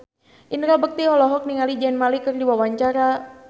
Indra Bekti olohok ningali Zayn Malik keur diwawancara